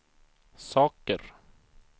saker